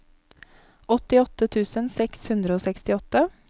åttiåtte tusen seks hundre og sekstiåtte